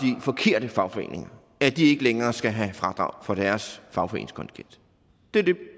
forkerte fagforeninger at de ikke længere skal have fradrag for deres fagforeningskontingent det er det